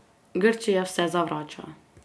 Grčija vse zavrača.